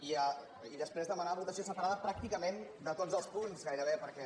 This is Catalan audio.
i després demanar votació separada pràcticament de tots els punts gairebé perquè